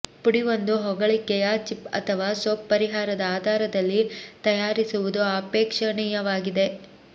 ಪುಡಿ ಒಂದು ಹೊಗಳಿಕೆಯ ಚಿಪ್ ಅಥವಾ ಸೋಪ್ ಪರಿಹಾರದ ಆಧಾರದಲ್ಲಿ ತಯಾರಿಸುವುದು ಅಪೇಕ್ಷಣೀಯವಾಗಿದೆ